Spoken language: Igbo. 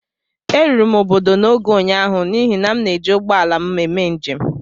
Eruru m obodo n'oge ụnyahụ n'ihi na eji m ụgbọ ala m mee njem